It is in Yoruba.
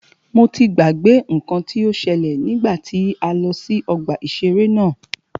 Mo ti gbàgbé nnkan tí o ṣẹ́lẹ̀ nígbà tí a lọ sí ọgbà ìṣẹ̀rẹ́ náà.